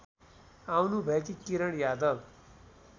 आउनुभएकी Kiran Yadav